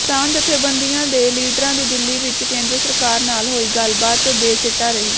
ਕਿਸਾਨ ਜਥੇਬੰਦੀਆਂ ਦੇ ਲੀਡਰਾਂ ਦੀ ਦਿੱਲੀ ਵਿੱਚ ਕੇਂਦਰ ਸਰਕਾਰ ਨਾਲ ਹੋਈ ਗੱਲ਼ਬਾਤ ਬੇਸਿੱਟਾ ਰਹੀ